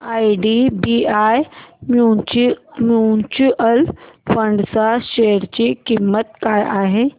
IDBI mutual fund च्या share ची किंमत काय आहे